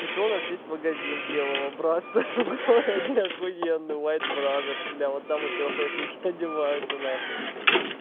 ещё у нас есть магазин белого братства в городе ахуенно вайт бразерс бля вот там эти офэшники одеваются на хуй